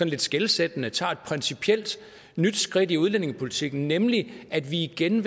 lidt skelsættende tager et principielt nyt skridt i udlændingepolitikken nemlig igen